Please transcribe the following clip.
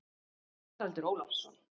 Haraldur Ólafsson.